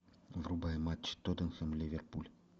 врубай матч тоттенхэм ливерпуль